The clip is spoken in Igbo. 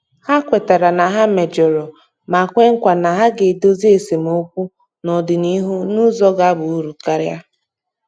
Ha kwetara na ha mejọrọ ma kwe nkwa na ha ga-edozi esemokwu n'ọdịnịhu n'ụzọ ga-aba uru karia.